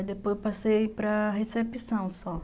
E depois eu passei para recepção só.